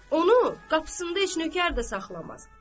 Onu qapısında heç nökər də saxlamaz.